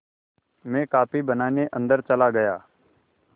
मैं कॉफ़ी बनाने अन्दर चला गया